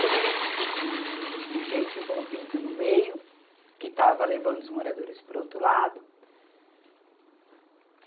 Políticos e gente envolvida no meio, que estava levando os moradores para o outro lado.